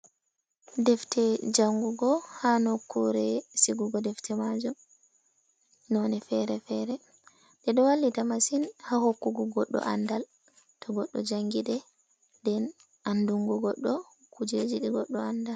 Defte jangugo ha nokkure sigugo defte majum none fere-fere ɗe ɗo wallita masin ha hokkugo goɗɗo andal to goɗɗo jangiɗe nden andungo goɗɗo kujeji goɗɗo anda.